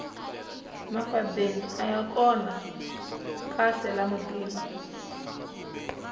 mafadeni aya kona kahle la mutini